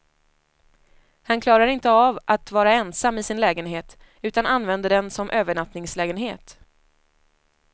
Han klarar inte att vara ensam i sin lägenhet, utan använder den som övernattningslägenhet.